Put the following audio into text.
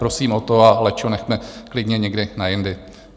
Prosím o to a lečo nechme klidně někdy na jindy.